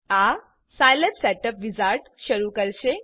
આ Scilab setup wizard શરૂ કરશે